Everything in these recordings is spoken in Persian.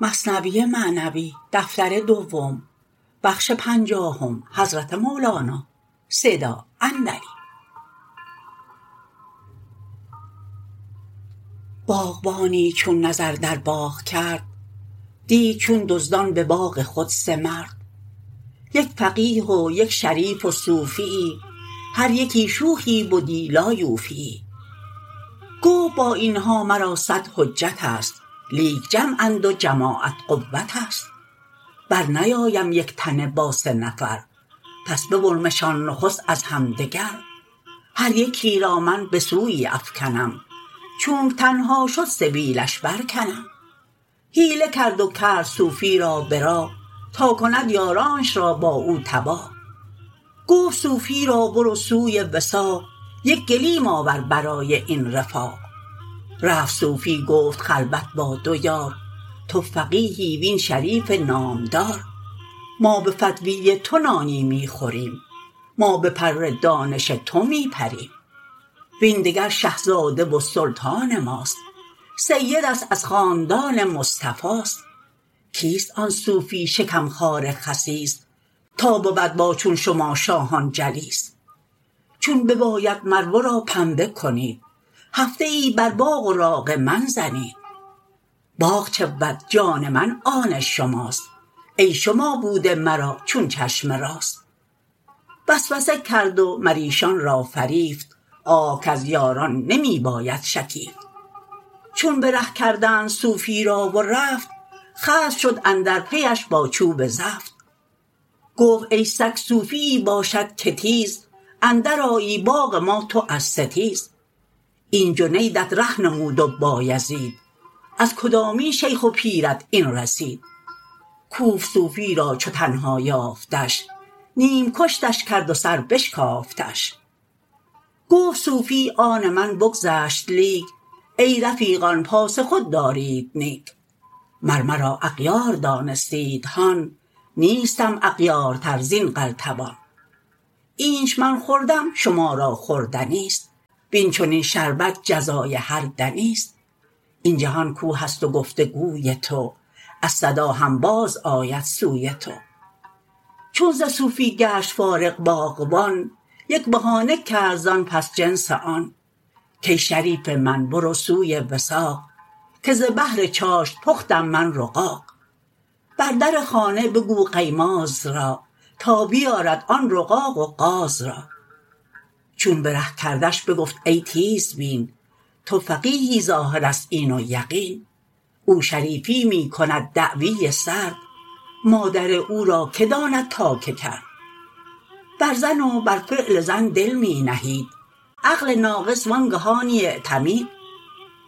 باغبانی چون نظر در باغ کرد دید چون دزدان به باغ خود سه مرد یک فقیه و یک شریف و صوفیی هر یکی شوخی بدی لا یوفیی گفت با این ها مرا صد حجتست لیک جمعند و جماعت قوتست بر نیایم یک تنه با سه نفر پس ببرمشان نخست از همدگر هر یکی را من به سویی افکنم چونک تنها شد سبیلش بر کنم حیله کرد و کرد صوفی را به راه تا کند یارانش را با او تباه گفت صوفی را برو سوی وثاق یک گلیم آور برای این رفاق رفت صوفی گفت خلوت با دو یار تو فقیهی وین شریف نامدار ما به فتوی تو نانی می خوریم ما به پر دانش تو می پریم وین دگر شه زاده و سلطان ماست سیدست از خاندان مصطفاست کیست آن صوفی شکم خوار خسیس تا بود با چون شما شاهان جلیس چون بیاید مر ورا پنبه کنید هفته ای بر باغ و راغ من زنید باغ چه بود جان من آن شماست ای شما بوده مرا چون چشم راست وسوسه کرد و مریشان را فریفت آه کز یاران نمی باید شکیفت چون به ره کردند صوفی را و رفت خصم شد اندر پیش با چوب زفت گفت ای سگ صوفیی باشد که تیز اندر آیی باغ ما تو از ستیز این جنیدت ره نمود و بایزید از کدامین شیخ و پیرت این رسید کوفت صوفی را چو تنها یافتش نیم کشتش کرد و سر بشکافتش گفت صوفی آن من بگذشت لیک ای رفیقان پاس خود دارید نیک مر مرا اغیار دانستید هان نیستم اغیارتر زین قلتبان اینچ من خوردم شما را خوردنیست وین چنین شربت جزای هر دنیست این جهان کوهست و گفت و گوی تو از صدا هم باز آید سوی تو چون ز صوفی گشت فارغ باغبان یک بهانه کرد زان پس جنس آن کای شریف من برو سوی وثاق که ز بهر چاشت پختم من رقاق بر در خانه بگو قیماز را تا بیارد آن رقاق و قاز را چون به ره کردش بگفت ای تیزبین تو فقیهی ظاهرست این و یقین او شریفی می کند دعوی سرد مادر او را که داند تا که کرد بر زن و بر فعل زن دل می نهید عقل ناقص وانگهانی اعتمید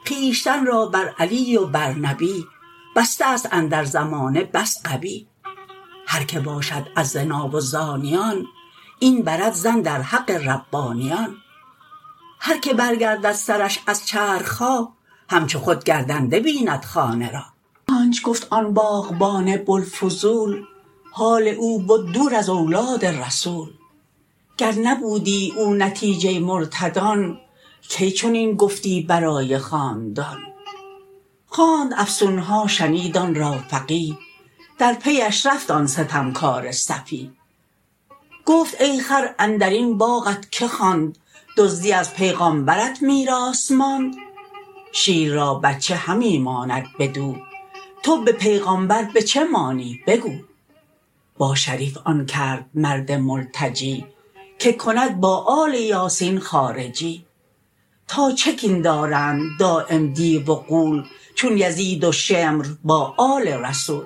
خویشتن را بر علی و بر نبی بسته است اندر زمانه بس غبی هر که باشد از زنا و زانیان این برد ظن در حق ربانیان هر که بر گردد سرش از چرخها همچو خود گردنده بیند خانه را آنچ گفت آن باغبان بوالفضول حال او بد دور از اولاد رسول گر نبودی او نتیجه مرتدان کی چنین گفتی برای خاندان خواند افسون ها شنید آن را فقیه در پی اش رفت آن ستمکار سفیه گفت ای خر اندرین باغت که خواند دزدی از پیغمبرت میراث ماند شیر را بچه همی ماند بدو تو به پیغمبر به چه مانی بگو با شریف آن کرد مرد ملتجی که کند با آل یاسین خارجی تا چه کین دارند دایم دیو و غول چون یزید و شمر با آل رسول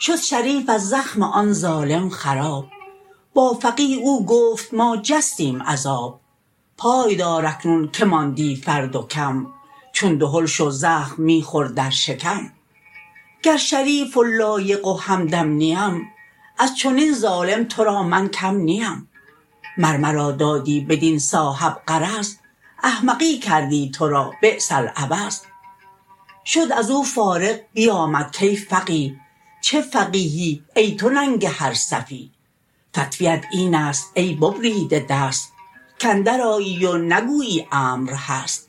شد شریف از زخم آن ظالم خراب با فقیه او گفت ما جستیم از آب پای دار اکنون که ماندی فرد و کم چون دهل شو زخم می خور در شکم گر شریف و لایق و همدم نیم از چنین ظالم تو را من کم نیم مر مرا دادی بدین صاحب غرض احمقی کردی تو را بیس العوض شد ازو فارغ بیامد کای فقیه چه فقیهی ای تو ننگ هر سفیه فتوی ات اینست ای ببریده دست کاندر آیی و نگویی امر هست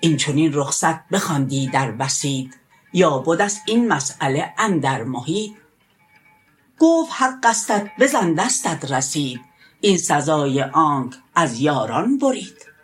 این چنین رخصت بخواندی در وسیط یا بدست این مساله اندر محیط گفت حقستت بزن دستت رسید این سزای آنک از یاران برید